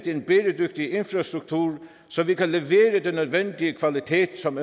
en bæredygtig infrastruktur så vi kan levere den nødvendige kvalitet som